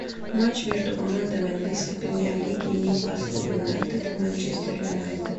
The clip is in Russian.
матч между командами английской премьер лиги ньюкасл юнайтед манчестер юнайтед